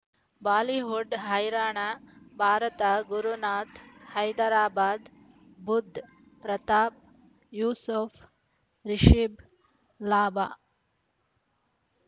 Bollywood ಹೈರಾಣ ಭಾರತ ಗುರುನಾಥ ಹೈದರಾಬಾದ್ ಬುಧ್ ಪ್ರತಾಪ್ ಯೂಸುಫ್ ರಿಷಬ್ ಲಾಭ